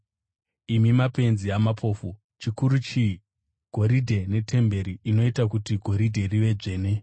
Imi mapenzi amapofu! Chikuru chii: Goridhe netemberi inoita kuti goridhe rive dzvene?